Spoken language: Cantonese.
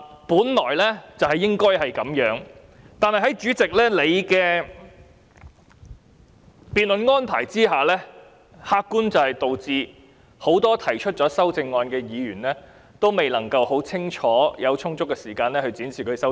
本來所有議員均應有機會發言，但在主席的辯論安排下，很多提出修正案的議員沒有充足時間，清楚闡述其修正案。